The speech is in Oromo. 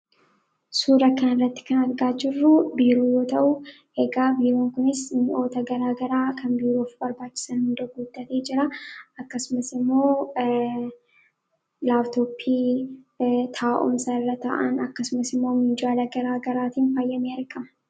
suuraa kana irratti kan argaa jirruu biiroo yoo ta'uu. Biiroon kunis mi'oota garaagaraa kan biiroof barbaachisan hunda guutatee jira. Akkasumas immoo laaptooppii taa'umsa irra ta'an akkasumas immoo minjaala garaa garaatiin faayyamee argama.